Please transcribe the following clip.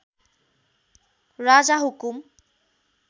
राजा हुकुम